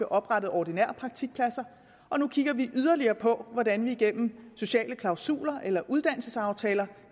oprettet ordinære praktikpladser og nu kigger vi yderligere på hvordan vi igennem sociale klausuler eller uddannelsesaftaler